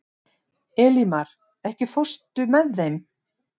Elímar, ekki fórstu með þeim?